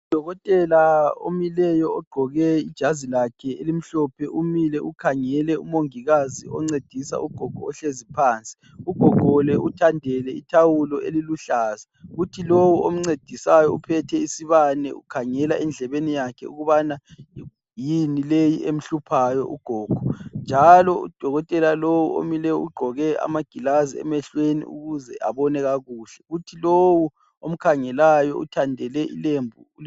Udokotela omileyo, ogqoke ijazi lakhe elimhlophe umile ukhangele umongikazi oncedisa ugogo, ohlezi phansi. Ugogo lo uthandele ithawulo eliluhlaza. Kuthi lowu omncedisayo uphethe isibane, ukhangela endlebeni yakhe ukubana yini le emhluphayo ugogo?. Njalo udokotela lo omileyo, ugqoke amagilazi emehlweni ukuze abone kakuhle. Kuthi lowu omkhangelayo uthandele ilembu.